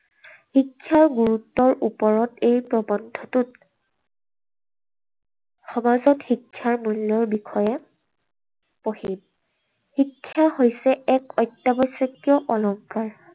শিক্ষাৰ গুৰুত্বৰ ওপৰত এই প্ৰবন্ধটোত সমাজত শিক্ষাৰ মূল্যৰ বিষয়ে পঢ়িম। শিক্ষা হৈছে এক অত্যাৱশ্যকীয় অলংকাৰ